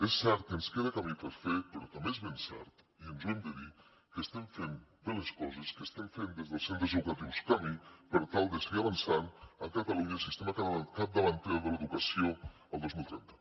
és cert que ens queda camí per fer però també és ben cert i ens ho hem de dir que estem fent bé les coses que estem fent des dels centres educatius camí per tal de seguir avançant a catalunya cap a un sistema capdavanter de l’educació el dos mil trenta